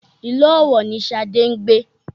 Ìlú Ọ̀wọ̀ ni Șadé ń gbé